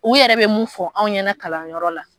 U yɛrɛ bɛ mun fɔ an ɲɛna kalanyɔrɔ la.